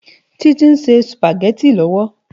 Titi nsé súpágètí lòwó